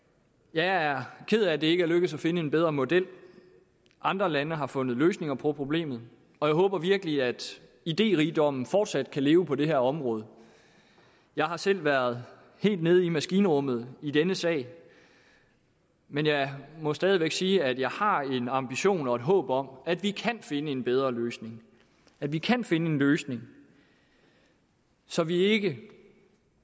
jeg er ked af at det ikke er lykkedes at finde en bedre model andre lande har fundet løsninger på problemet og jeg håber virkelig at idérigdommen fortsat kan leve på det her område jeg har selv været helt nede i maskinrummet i denne sag men jeg må stadig væk sige at jeg har en ambition og et håb om at vi kan finde en bedre løsning at vi kan finde en løsning så vi ikke